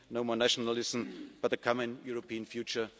solidarity no more nationalism, but a common European